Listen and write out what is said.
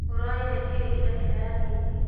ũronire kĩĩ ira kĩrathinĩ?